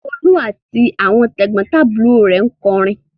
Folú àti àwọn tẹ̀gbọ́ntàbúrò rẹ̀ ń kọrin.